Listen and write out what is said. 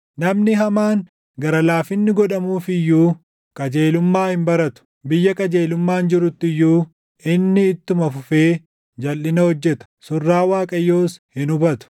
Namni hamaan gara laafinni godhamuuf iyyuu, qajeelummaa hin baratu; biyya qajeelummaan jirutti iyyuu inni ittuma fufee jalʼina hojjeta; surraa Waaqayyoos hin hubatu.